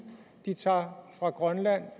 de tager fra grønland